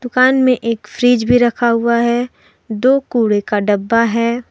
दुकान में एक फ्रिज भी रखा हुआ है दो कूड़े का डब्बा है।